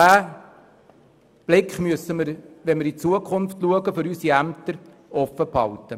Wir müssen uns diesen Blick in die Zukunft für unsere Ämter offenhalten.